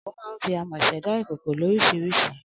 Amòkòkò ma ń fi amò sèdá ìkòkò lórísirísi